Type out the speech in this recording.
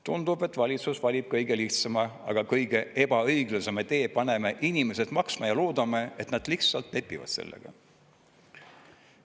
Tundub, et valitsus valib kõige lihtsama, aga kõige ebaõiglasema tee: paneme inimesed maksma ja loodame, et nad lihtsalt lepivad sellega.